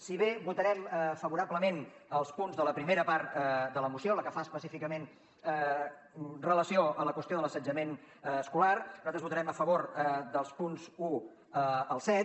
si bé votarem favorablement als punts de la primera part de la moció la que fa específicament referència a la qüestió de l’assetjament escolar nosaltres votarem a favor dels punts un al set